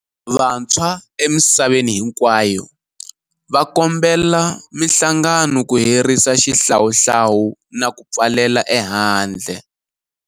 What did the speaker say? Vantshwa emisaveni hinkwayo va kombela mihlangano ku herisa xihlawuhlawu na ku pfalela ehandle.